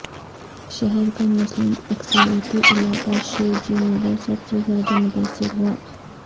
شہر کا مسلم اکثریتی علاقہ شیو جی نگر سب سے زیادہ متاثر ہوا